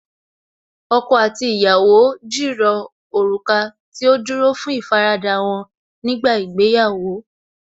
Ọkọ àti ìyàwó jìrọ̀ òrùka tí ó dúró fún ìfaradà wọ́n nígbà ìgbéyàwó